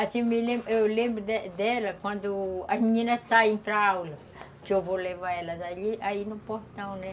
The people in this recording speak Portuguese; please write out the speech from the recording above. Assim, eu me, eu lembro dela quando as meninas saem para aula, que eu vou levar elas ali, aí no portão, né?